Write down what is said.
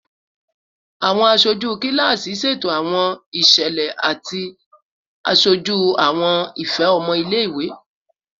Awọn aṣoju kilasi ṣeto awọn iṣẹlẹ ati aṣoju awọn ifẹ ọmọ ile-iwe